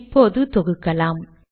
இப்போது தொகுக்கலாம்